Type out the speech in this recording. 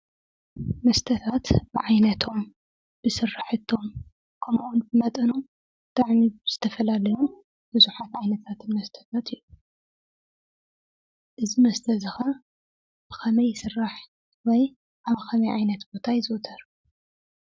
መስተታት ብዓይነቶም፣ ብስራሕቶም፣ ከምኡውን ብመጠኖም ብጣዕሞም ዝተፈላለዩን ብዙሓት ዓይነታት መስተታት እዮም፡፡ እዚ መስተ እዚ ኸዓ ብኸመይ ይስራሕ ወይ ኣብ ኸመይ ዓይነት ቦታ ይዝውተር?